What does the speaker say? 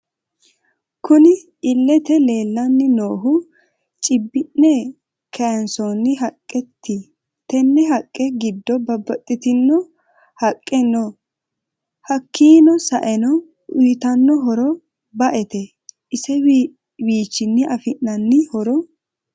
Kunni illete leelani noohu cibbine kayiisonni haqqeti tenne haqqe giddo babaxitino haqqe no hakiino sa'eena uyitano horro ba'ete isewiichini afinanni horro....